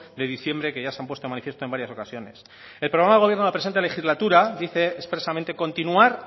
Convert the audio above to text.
de diciembre que ya se han puesto en manifiesto en varias ocasiones el programa de gobierno de la presente legislatura dice expresamente continuar